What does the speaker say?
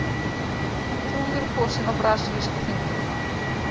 Trúður kosinn á brasilíska þingið